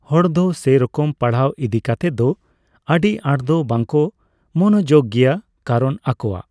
ᱦᱚᱲᱫᱚ ᱥᱮᱨᱚᱠᱚᱢ ᱯᱟᱲᱦᱟᱜ ᱤᱫᱤᱠᱟᱛᱮᱫ ᱫᱚ ᱟᱹᱰᱤ ᱟᱴᱫᱚ ᱵᱟᱝᱠᱚ ᱢᱚᱱᱚᱡᱳᱜᱽ ᱜᱮᱭᱟ ᱠᱟᱨᱚᱱ ᱟᱠᱚᱣᱟᱜ